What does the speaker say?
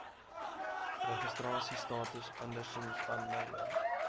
registrasiestatus andersins aanlyn